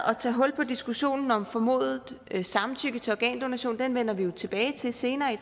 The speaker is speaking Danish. at tage hul på diskussionen om formodet samtykke til organdonation den vender vi jo tilbage til senere i